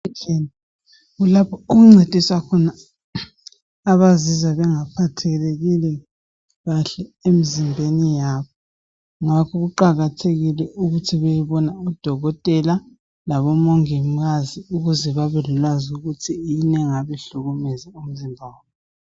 Kulapha okuncediswa khona abazizwa bengaphathekanga kuhle emzimbeni yabo ngakho kuqakathekile ukuthi beyobona odokotela labomongikazi ukuze babe lolwazi ukuthi yini engabe ihlukumeza umzimba wabo